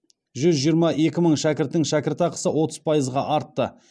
жүз жиырма екі мың шәкірттің шәкіртақысы отыз пайызға артты